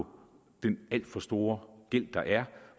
på den alt for store gæld der er